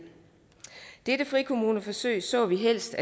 dette frikommuneforsøg så vi helst